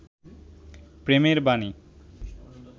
প্রেমের বানী